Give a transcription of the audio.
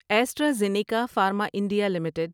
extra زینیکا pharma India limited